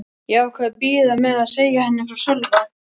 Ég ákvað að bíða með að segja henni frá Sölva.